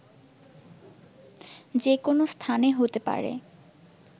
যেকোনো স্থানে হতে পারে